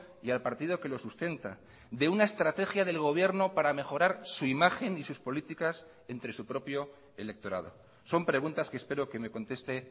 y al partido que lo sustenta de una estrategia del gobierno para mejorar su imagen y sus políticas entre su propio electorado son preguntas que espero que me conteste